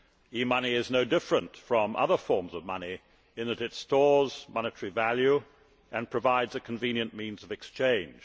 E money is no different from other forms of money in that it stores monetary value and provides a convenient means of exchange.